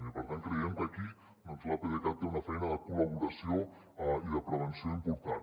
i per tant creiem que aquí doncs l’apdcat té una feina de col·laboració i de prevenció important